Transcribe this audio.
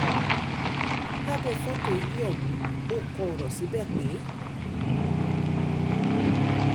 lábẹ́ fọ́tò ilé ọ̀hún ò kọ ọ̀rọ̀ síbẹ̀ pé